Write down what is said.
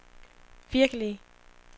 virkelige